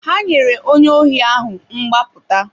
Ha nyere onye ohi ahụ mgbapụta.